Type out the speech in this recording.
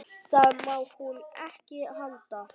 Það má hún ekki halda.